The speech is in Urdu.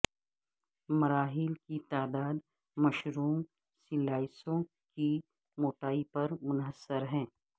مراحل کی تعداد مشروم سلائسوں کی موٹائی پر منحصر ہے